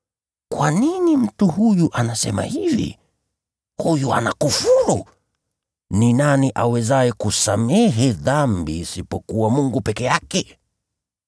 “Kwa nini mtu huyu anasema hivi? Huyu anakufuru! Ni nani awezaye kusamehe dhambi isipokuwa Mungu peke yake?”